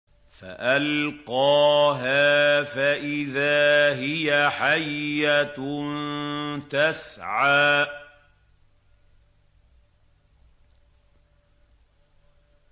فَأَلْقَاهَا فَإِذَا هِيَ حَيَّةٌ تَسْعَىٰ